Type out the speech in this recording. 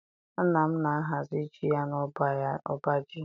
Nna m na-ahazi ji ya n'ọba ji ya